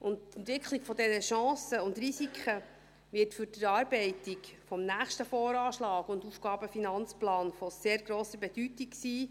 Die Entwicklung dieser Chancen und Risiken wird für die Erarbeitung des nächsten VA und AFP von sehr grosser Bedeutung sein.